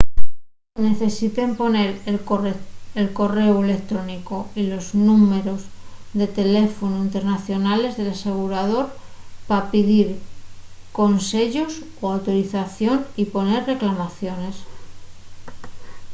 necesiten poner el corréu electrónicu y los númberos de teléfonu internacionales del asegurador pa pidir conseyos o autorización y poner reclamaciones